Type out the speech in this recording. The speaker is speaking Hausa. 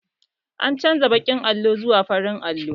An canza baƙin allon zuwa farin allo